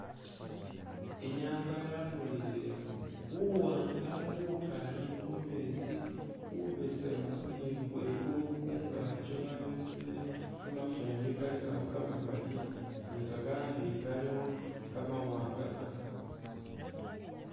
Inyanga yamulikhile buwanga bukali khumesti bubesemu ni khwigulu khungakyi khwabesemele kamafumbi kalikakho kamamali ni kakandi kalikho kamawanga kamakali.